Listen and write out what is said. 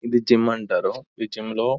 ఇది జిమ్ అంటారు ఈ జిమ్ములో --